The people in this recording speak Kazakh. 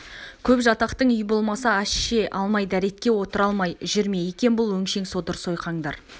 көп жатақтың үй болмаса ас ше алмай дәретке отыра алмай жүр ме екен бұл өңшең содыр-сойқандар